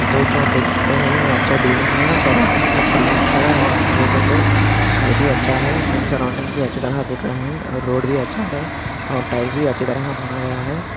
दोस्तों आप देख सकते है। ये अच्छा बिल्डिंग है। यहाँ सरौंडिंग्स मे ट्रीस है और देखे तो स्काइ भी अच्छा है अँड सरौंडिंग भी अच्छे तरह दिख रहे है और रोड भी अच्छा है और टाइल्स भी अच्छी तरह बना गया है।